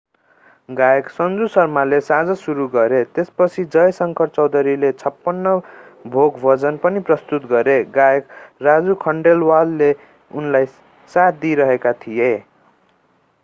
गायक सन्जु शर्माले साँझ सुरु गरे त्यसपछि जय शंकर चौधरीले छपन्न भोग भजन पनि प्रस्तुत गरे गायक राजु खन्डेलवालले उनलाई साथ दिइरहेका थिए